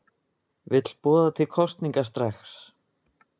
Vill boða til kosninga strax